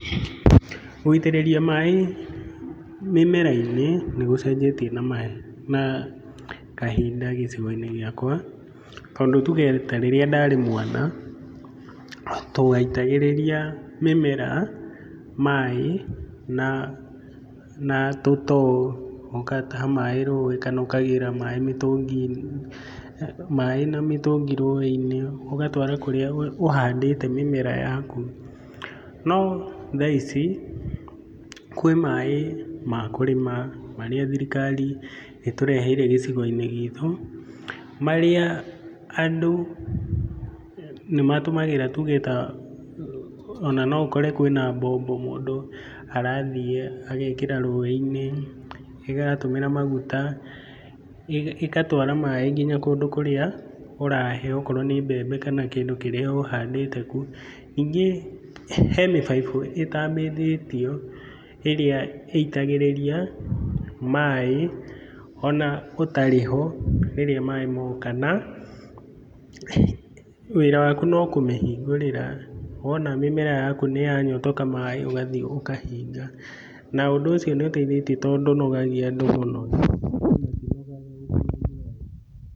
Gũitĩrĩria maĩ mĩmera-inĩ nĩ gũcenjetie na maya, na kahinda gĩcigo-inĩ gĩakwa, tondũ tuge ta rĩrĩa ndarĩ mwana, twaitagĩrĩria mĩmera maĩ na, na tũtoo. Ũgataha maĩ rũĩ kana ũkagĩra maĩ mĩtũngi maĩ na mĩtũngi rũĩ-inĩ, ũgatwara kũrĩa ũhandĩte mĩmera yaku. No thaa ici, kwĩ maĩ ma kũrĩma marĩa thirikari ĩtũreheire gĩcigo-inĩ gitũ, marĩa andũ nĩ matũmagĩra tuge ta ona no ũkore kwĩna mbombo, mũndũ arathiĩ agekĩra rũĩ-inĩ, ĩratũmĩra maguta, ĩgatwara maĩ kinya kũndũ kũrĩa ũrahe okorwo nĩ mbembe kana kĩndũ kĩrĩa ũhandĩte kũu. Ningĩ he mĩbaibũ ĩtambithĩtio ĩrĩa ĩitagĩrĩria maĩ ona ũtarĩ ho, rĩrĩa maĩ moka, na wĩra waku no kũmĩhingũrĩra. Wona mĩmera yaku nĩ ya nyotoka maĩ ũgathiĩ ũkahinga, na ũndũ ũcio nĩ ũteithĩtie tondũ ndũnogagia andũ mũno.